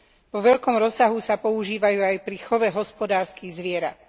Vo veľkom rozsahu sa používajú aj pri chove hospodárskych zvierat.